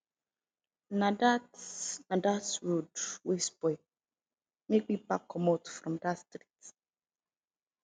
na dat na dat road wey spoil make me pack comot from dat street